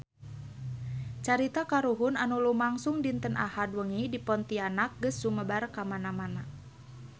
Carita kahuruan anu lumangsung dinten Ahad wengi di Pontianak geus sumebar kamana-mana